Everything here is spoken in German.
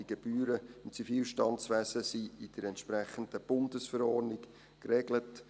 Die Gebühren im Zivilstandswesen sind in der entsprechenden Bundesverordnung geregelt.